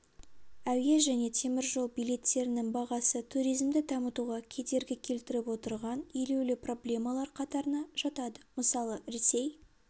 әуе және теміржол билеттерінің бағасы туризмді дамытуға кедергі келтіріп отырған елеулі проблемалар қатарына жатады мысалы ресей